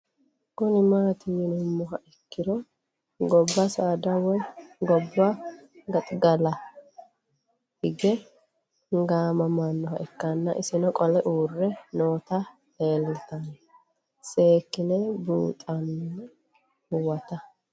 Kuni mati yinumoha ikiro goba saada woyi goba gaxigalawa hige gamamanoha ikana isino qole uure nootana leelanta seekine buuxana huwata